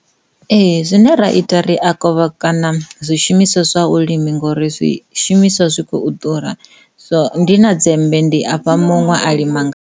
Ee, zwine ra ita ri a kovhekana zwishumiswa zwa vhulimi ngori zwishumiswa zwi khou ḓura so ndi na dzembe ndi a fha muṅwe a lima.